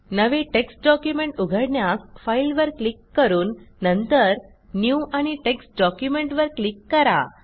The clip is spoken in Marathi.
नवे टेक्स्ट डॉक्युमेंट उघडण्यास Fileवर क्लिक करून नंतर न्यू आणि टेक्स्ट डॉक्युमेंट वर क्लिक करा